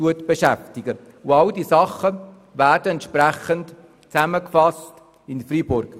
All diese Dinge sollen in Freiburg zusammengefasst werden.